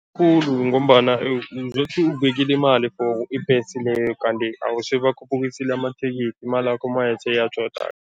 Khulu ngombana uzothi ubekile imali for ibhesi leyo, kanti hawu sebakhuphukisile amathikithi, imalakho maye seyatjhodake.